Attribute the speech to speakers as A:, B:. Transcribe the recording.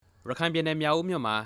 A: ရခိုင်ပြည်နယ် မြောက်ဦးမြို့မှာ